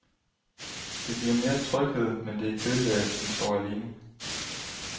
Det giver mere tryghed, men det er kedeligt at den står alene.